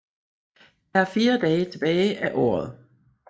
Der er 4 dage tilbage af året